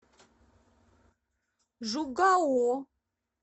жугао